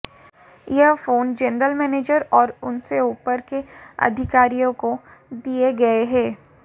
यह phone general manager और उनसे ऊपर के अधिकारियों को दिए गए हैं